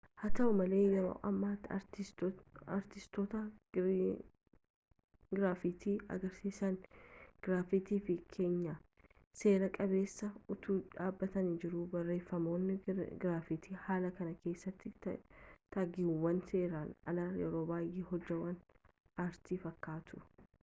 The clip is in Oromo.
haa ta’u malee yeroo ammaatti artiistoota giraafitii agarsiisa girafitii fi keenyan sera-qabeessa”tu dhaabbatanii jiru. barreeffamoonni giraafitii haala kana keessatti taagiiwwan seeraan alaarra yeroo baay’ee hojiwwan aartii fakkaatu